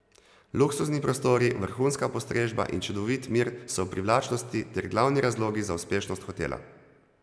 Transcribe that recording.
Luksuzni prostori, vrhunska postrežba in čudovit mir so privlačnosti ter glavni razlogi za uspešnost hotela.